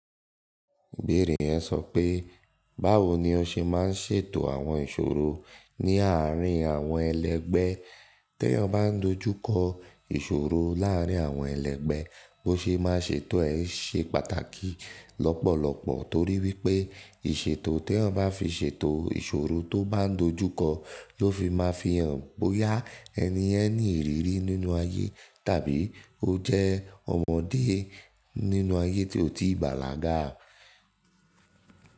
Ibeere yẹn sọ pé báwo ni ó ṣe máa ń ṣètò àwọn ìṣòro ní àárín àwọn ẹlẹgbẹ́ tí eeyan ba n dojú kọ ìṣòro láàárín àwọn ẹlẹgbẹ́, bó ṣe má ṣètò ẹ̀ ṣe pàtàkì lọ́pọ̀lọpọ̀ torí wípé ìṣètò tí èèyàn bá fi ṣètò ìṣòro tó bá n dojúkọ ló fi má fi hàn bóyá ẹni yẹn ní ìrírí nínú ayé tàbí ó jẹ́ ọmọdé nínú ayé tí ó ti bàlágà.